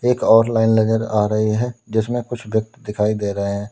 एक और लाइन नजर आ रही है जिसमें कुछ व्यक्ति दिखाई दे रहे हैं।